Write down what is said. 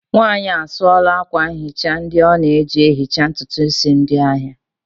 Nwanyị a sụọla akwa nhicha ndị ọ na-eji ehicha ntutu isi ndị ahịa